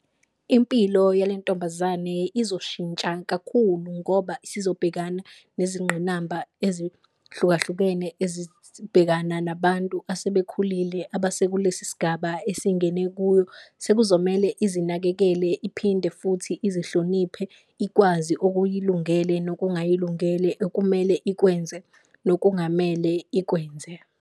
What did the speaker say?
Impilo yale ntombazane izoshintsha kakhulu ngoba usizobhekana nezingqinamba ezihlukahlukene ezibhekana nabantu asebekhulile, abase kulesi sigaba esingene kuyo. Sekuzomele izinakekele iphinde futhi izihloniphe ikwazi okuyilungele nokungayilungele, okumele ikwenze nokungamele ikwenze.